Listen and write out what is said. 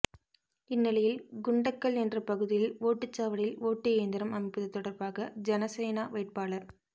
இந்நிலையில் குண்டக்கல் என்ற பகுதியில் ஓட்டுச்சாவடியில் ஓட்டு இயந்திரம் அமைப்பது தொடர்பாக ஜனசேனா வேட்பாளர்